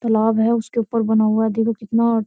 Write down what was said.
तालाब है उसके ऊपर बना हुआ है देखो कितना और --